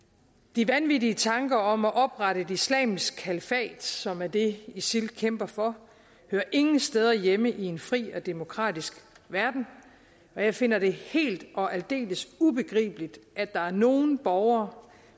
de vanvittige tanker om at oprette et islamisk kalifat som er det isil kæmper for hører ingen steder hjemme i en fri og demokratisk verden og jeg finder det helt og aldeles ubegribeligt at der er nogen borgere